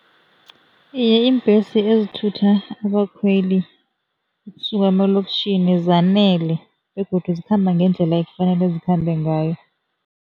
Iye, iimbhesi ezithutha abakhweli kusuka emalokitjhini zanele begodu zikhamba ngendlela ekufanele zikhambe ngayo.